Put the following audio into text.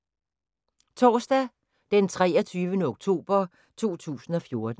Torsdag d. 23. oktober 2014